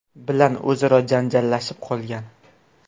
bilan o‘zaro janjallashib qolgan.